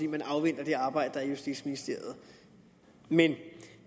man afventer det arbejde der foregår i justitsministeriet men